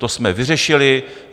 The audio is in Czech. To jsme vyřešili.